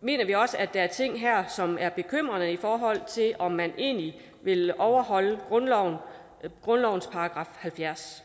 mener vi også at der er ting her som er bekymrende i forhold til om man egentlig vil overholde grundlovens § halvfjerds